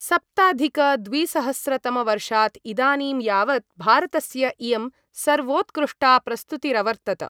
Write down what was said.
सप्ताधिकद्विसहस्रतमवर्षात् इदानीं यावत् भारतस्य इयं सर्वोत्कृष्टा प्रस्तुतिरवर्तत।